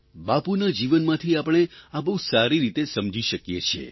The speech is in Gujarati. બાપુના જીવનમાંથી આપણે આ બહુ સારી રીતે સમજી શકીએ છીએ